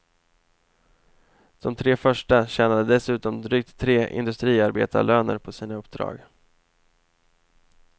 De tre första tjänade dessutom drygt tre industriarbetarlöner på sina uppdrag.